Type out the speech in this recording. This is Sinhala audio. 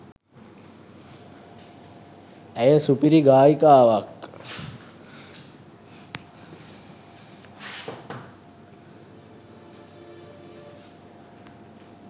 ඇය සුපිරි ගායිකාවක්